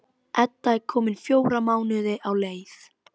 Edda er komin fjóra mánuði á leið.